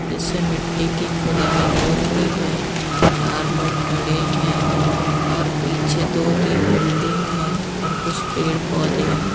जिससे मिट्टी की खुदाई हो रही है चार लोग खड़े हैं और पीछे दो-तीन बिल्डिंग है और कुछ पेड़-पौधे हैं।